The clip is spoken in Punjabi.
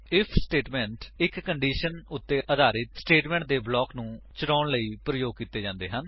ਆਈਐਫ ਸਟੇਟਮੇਂਟ160 ਇੱਕ ਕੰਡੀਸ਼ਨ ਉੱਤੇ ਆਧਾਰਿਤ ਸਟੇਟਮੇਂਟਸ ਦੇ ਬਲਾਕ ਨੂੰ ਚਲਾਉਣ ਲਈ ਪ੍ਰਯੋਗ ਕੀਤੇ ਜਾਂਦੇ ਹਨ